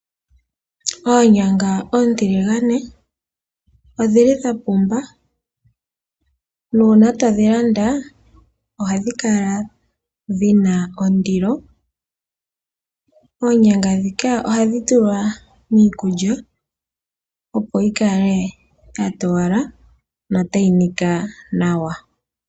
Oonyanga oontiligane odhili dha pumba, nuuna todhi landa ohadhi kala dhina ondilo. Oonyanga ndhika ohadhi tulwa miikulya, opo yi kale ya towala notayi nika nawa.